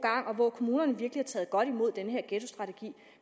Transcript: kommunerne har virkelig taget godt imod den her ghettostrategi